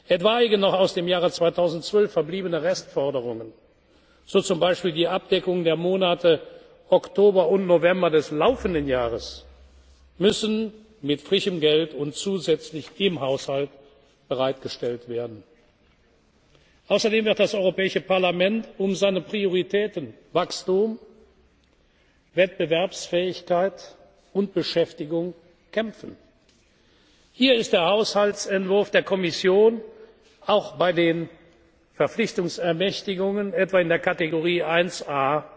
Jahres erfüllen zu können. Für etwaige noch aus dem Jahr 2012 verbliebene Restforderungen, so zum Beispiel die Abdeckung der Monate Oktober und November des laufenden Jahres, müssen frische Mittel zusätzlich im Haushalt bereitgestellt werden. Außerdem wird das Europäische Parlament um seine Prioritäten Wachstum, Wettbewerbsfähigkeit und Beschäftigung kämpfen. Hier ist der Haushaltsentwurf der Kommission auch bei den Verpflichtungsermächtigungen